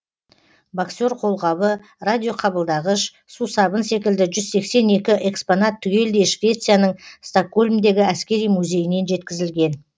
боксер қолғабы радиоқабылдағыш сусабын секілді жүз сексен екі экспонат түгелдей швецияның стокгольмдегі әскери музейінен жеткізілген